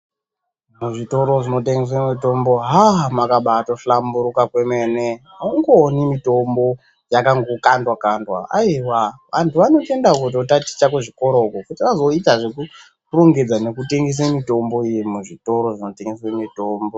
Muzvitoro zvinotengese mitombo haa makabaatohlamburuka kwemene haungooni mitombo yakangokandwa kandwa ayiwa ,antu vanotoenda kunotaticha kuzvikoro iyo kuti azoite zvekurongedza nekutengesa mitombo iyi muzvitoro zvinoyengesa mutombo.